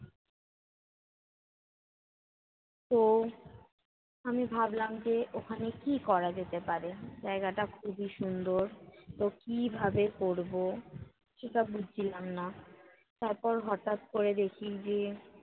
তো, আমি ভাবলাম যে ওখানে কী করা যেতে পারে। জায়গাটা খুবই সুন্দর, তো কীভাবে করবো, সেটা বুঝছিলাম না। তারপর হঠাৎ করে দেখি যে,